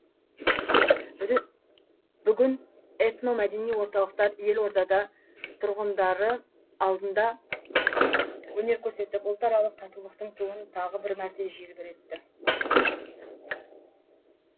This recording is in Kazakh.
бүгін этно мәдени орталықтар елордада тұрғындары алдында өнер көрсетіп ұлтаралық татулықтың туын тағы бір мәрте желбіретті